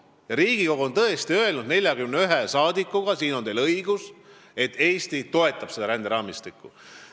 Ja teil on õigus: Riigikogu on tõesti 41 saadiku suu läbi öelnud, et Eesti toetab seda ränderaamistikku.